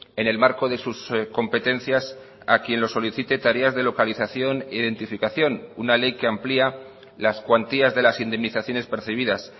en el marco de sus competencias a quien lo solicite tareas de localización e identificación una ley que amplía las cuantías de las indemnizaciones percibidas